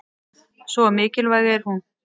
Svo mikilvæg er hún.